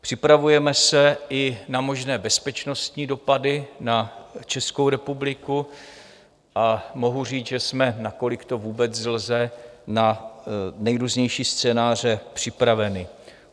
Připravujeme se i na možné bezpečnostní dopady na Českou republiku a mohu říct, že jsme, nakolik to vůbec lze, na nejrůznější scénáře připraveni.